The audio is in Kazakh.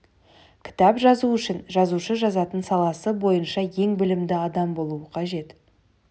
кітап жазу үшін жазушы жазатын саласы бойынша ең білімді адам болуы қажет